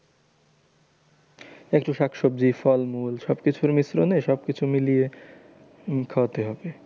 একটু শাকসবজি ফলমূল সবকিছুর মিশ্রনে সবকিছু মিলিয়ে খাওয়াতে হবে।